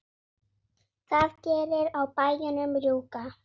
það gerir á bæjunum rjúka.